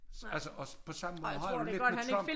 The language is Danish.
Altså også på samme måde har jeg det lidt med Trump